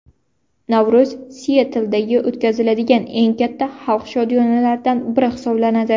Navro‘z Sietldagi o‘tkaziladigan eng katta xalq shodiyonalaridan biri hisoblanadi.